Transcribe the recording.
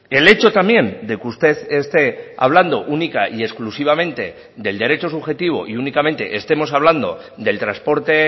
el hecho también de que usted esté hablando única y exclusivamente del derecho subjetivo y únicamente estemos hablando del transporte